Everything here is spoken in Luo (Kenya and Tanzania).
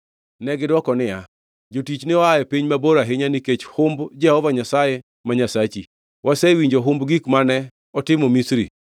Negidwoko niya, “Jotichni oa e piny mabor ahinya nikech humb Jehova Nyasaye ma Nyasachi. Wasewinjo humb gik mane otimo Misri,